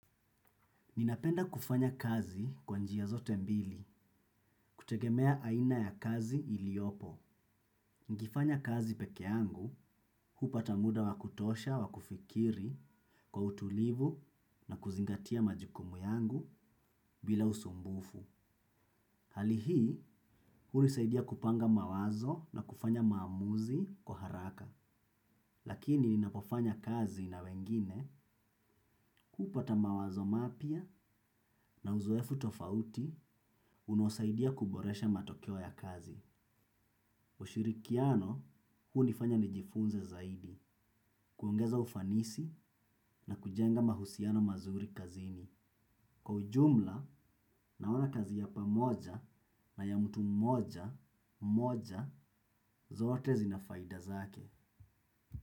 Ninapenda kufanya kazi kwa njia zote mbili kutegemea aina ya kazi iliopo. Nkifanya kazi pekee yangu, hupata muda wa kutosha wa kufikiri kwa utulivu na kuzingatia majukumu yangu bila usumbufu. Hali hii, hunisaidia kupanga mawazo na kufanya maamuzi kwa haraka. Lakini ninapofanya kazi na wengine hupata mawazo mapya na uzoefu tofauti unaosaidia kuboresha matokeo ya kazi. Ushirikiano huu hunifanya nijifunze zaidi, kuongeza ufanisi na kujenga mahusiano mazuri kazini. Kwa ujumla, naona kazi ya pamoja na ya mtu mmoja, moja, zote zinafaida zake.